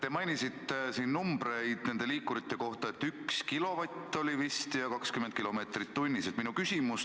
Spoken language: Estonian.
Te mainisite numbreid nende liikurite kohta, 1 kilovatt oli vist ja 20 kilomeetrit tunnis.